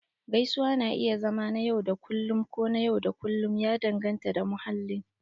Gaisuwa na iya zama na yau da kullun ko na yau da kullun, ya danganta da mahallin